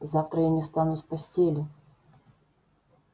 завтра я не встану с постели